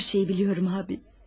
Her şeyi biliyorum abi.